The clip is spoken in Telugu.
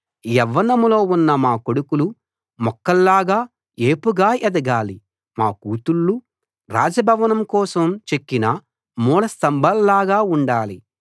యవ్వనంలో ఉన్న మా కొడుకులు మొక్కల్లాగా ఏపుగా ఎదగాలి మా కూతుళ్ళు రాజభవనం కోసం చెక్కిన మూల స్తంభాల్లాగా ఉండాలి